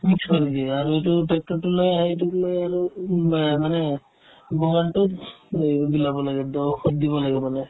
mix কৰি দিয়ে আৰু এইটো tractor তো লৈ আহে এইটো লৈ আহে উব মানে লৈ বিলাব লাগে ত দিব লাগে মানে